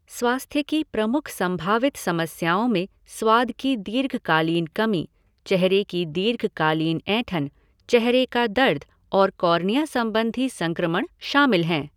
स्वास्थ्य की प्रमुख संभावित समस्याओं में स्वाद की दीर्घकालीन कमी, चेहरे की दीर्घकालीन ऐंठन, चेहरे का दर्द और कॉर्निया संबंधी संक्रमण शामिल हैं।